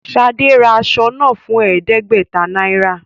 Ṣade rà aṣọ náà fún ẹẹdẹgbẹta náírà